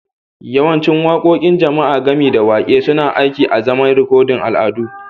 Yawancin waƙoƙin jama'a, gami da waƙe, suna aiki azaman rikodin al'adu